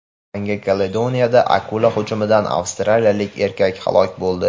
Yangi Kaledoniyada akula hujumidan avstraliyalik erkak halok bo‘ldi.